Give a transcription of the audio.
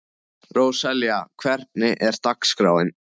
Róselía, hvernig er dagskráin?